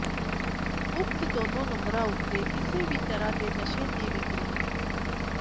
ਉਕਤ ਦੋਨਾਂ ਨੰਬਰਾਂ ਉੱਤੇ ਕਿਸੇ ਵੀ ਤਰ੍ਹਾਂ ਦੇ ਨਸ਼ੇ ਦੀ ਵਿੱਕਰੀ